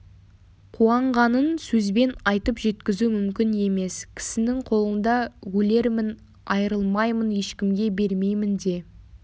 қуанғанын сөзбен айтып жеткізу мүмкін емес кісінің қолында өлермін айрылмаймын ешкімге бермеймін де